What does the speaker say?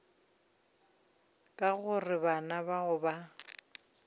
ka gore bana bao ba